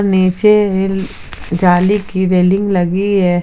नीचे ये जाली की रेलिंग लगी है।